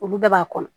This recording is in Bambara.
Olu bɛɛ b'a kɔnɔ